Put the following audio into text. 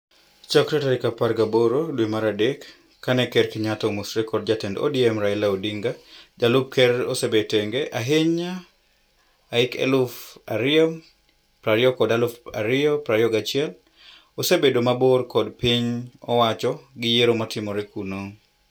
Chakre tarik apar gaboro dwe mar adek, kane ker Kenyatta omosore kod jatend ODM Raila Odinga, jalup ker osebet tenge. Ahiny ahik eluf ario prario kod eluf ario prario gachiel. Osebedo mabor kod piny owacho gi yiero maitimmo kuno.